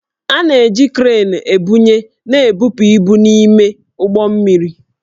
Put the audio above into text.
A na-eji kreenị ebunye na ebupu ibu n'ime ụgbọ mmiri